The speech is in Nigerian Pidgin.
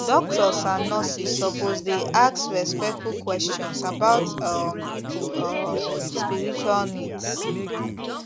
doctors and nurses suppose dey ask respectful questions about um people um spiritual needs